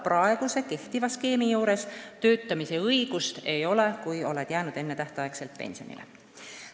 Praegu töötamise õigust ei ole, kui oled jäänud enne tähtaega pensionile.